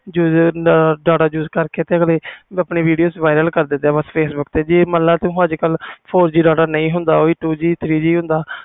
ਉਹ data use ਕਰਕੇ video viral ਕਰਦੇ ਪਈਏ facebook ਤੇ ਜੇ ਮਨ ਲੈ four G data ਨਹੀਂ ਹੁੰਦਾ two G three G ਹੁੰਦਾ